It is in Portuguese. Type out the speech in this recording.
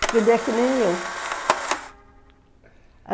Porque ele é que nem eu.